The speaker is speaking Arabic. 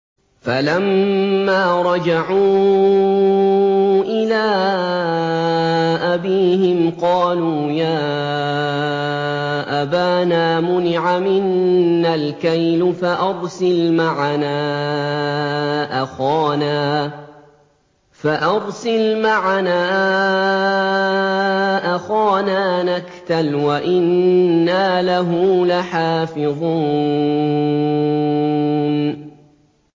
فَلَمَّا رَجَعُوا إِلَىٰ أَبِيهِمْ قَالُوا يَا أَبَانَا مُنِعَ مِنَّا الْكَيْلُ فَأَرْسِلْ مَعَنَا أَخَانَا نَكْتَلْ وَإِنَّا لَهُ لَحَافِظُونَ